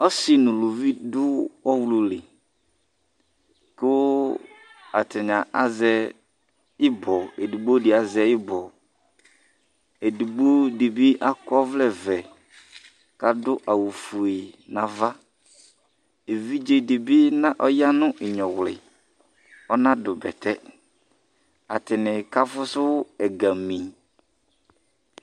ɔsi nuluʋi du ɔhluli ku atani azɛ ibɔ edigbodi azɛ ibɔ edigbodibi akɔ oʋlɛ vɛ kadu awu fue nava iʋidzedibi na ayaninyuwli ɔnadu bɛtɛ atani kafusu ɛgãmi